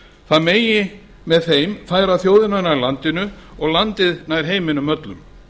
það megi með þeim færa þjóðina nær landinu og landið nær heiminum öllum